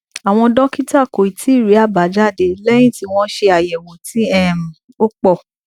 àwọn dókítà kò tíì rí àbájáde léyìn tí wọn ṣe ayewo tí um ó pọ